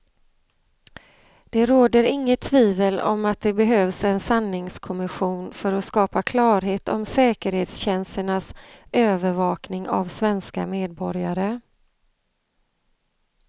Det råder inget tvivel om att det behövs en sanningskommission för att skapa klarhet om säkerhetstjänsternas övervakning av svenska medborgare.